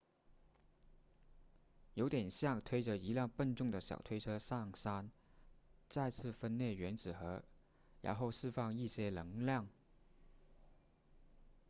有点像推着一辆笨重的小推车上山再次分裂原子核然后释放一些能量